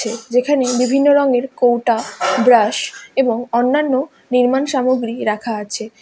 যেখানে বিভিন্ন রঙের কৌটা ব্রাশ এবং অন্যান্য নির্মাণ সামগ্রী রাখা আছে।